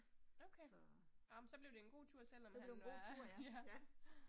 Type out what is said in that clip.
Okay. Nåh men så blev det en god tur selvom han var ja